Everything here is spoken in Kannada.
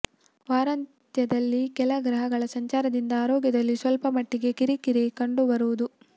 ವಾರಾಂತ್ಯದಲ್ಲಿ ಕೆಲ ಗ್ರಹಗಳ ಸಂಚಾರದಿಂದ ಆರೋಗ್ಯದಲ್ಲಿ ಸ್ವಲ್ಪ ಮಟ್ಟಿಗೆ ಕಿರಿಕಿರಿ ಕಂಡು ಬರುವುದು